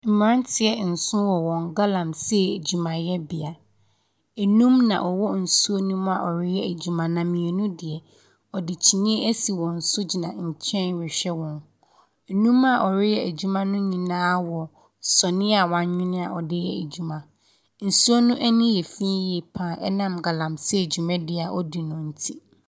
Mmeranteɛ nson wɔ wɔn galamsey adwumayɛbea, nnum na wɔwɔ nsuo no mu a wɔreyɛ adwuma, na mmienu deɛ, wɔde kyineɛ asi wɔn so gyina nkyɛn rehwɛ wɔn. Nnum a wɔreyɛ adwuma ne nyinaa wɔ sɔneɛ a wɔawene a wɔde yɛ adwuma. Nsuo no ani yɛ fii yie pa ara ɛnam galamsey dwumadi a wɔdi no nti.